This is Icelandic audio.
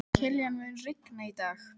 Kilían, mun rigna í dag?